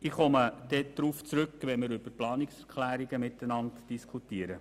Ich werde darauf zurückkommen, wenn wir über die Planungserklärungen diskutieren.